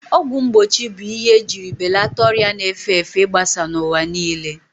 Ọgwụ mgbochi bụ ihe ejiri belata ọrịa na-efe efe igbasa n'ụwa niile.